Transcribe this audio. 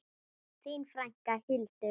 Þín frænka, Hildur.